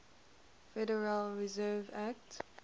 federal reserve act